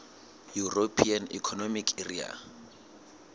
european economic area